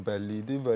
Bu bəlli idi.